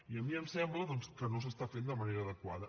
i a mi em sembla doncs que no s’està fent de manera adequada